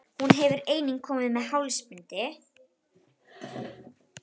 Hún hefur einnig komið með hálsbindi.